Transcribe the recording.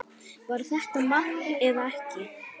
Var þetta mark eða ekki?